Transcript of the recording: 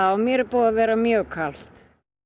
mér er búið að vera mjög kalt